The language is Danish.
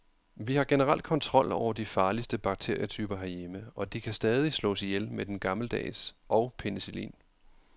Vi har generelt kontrol over de farligste bakterietyper herhjemme, og de kan stadig slås ihjel med den gammeldags og penicillin.